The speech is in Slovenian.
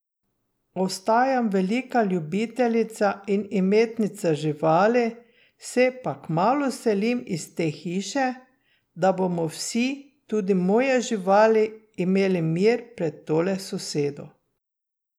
Ostajam velika ljubiteljica in imetnica živali, se pa kmalu selim iz te hiše, da bomo vsi, tudi moje živali, imeli mir pred tole sosedo.